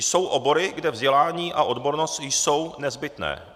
Jsou obory, kde vzdělání a odbornost jsou nezbytné.